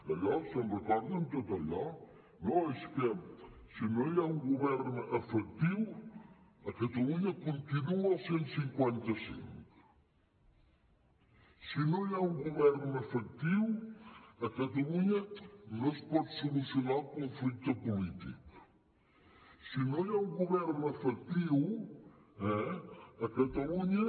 d’allò se’n recorden de tot allò no és que si no hi ha un govern efectiu a catalunya continua el cent i cinquanta cinc si no hi ha un govern efectiu a catalunya no es pot solucionar el conflicte polític si no hi ha un govern efectiu eh a catalunya